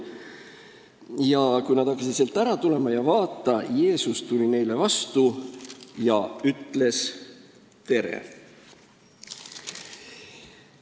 Ja kui nad hakkasid sealt ära tulema – "Ja vaata, Jeesus tuli neile vastu ja ütles: "Tere!"